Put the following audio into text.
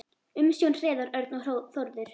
Umsjón Hreiðar Örn og Þórður.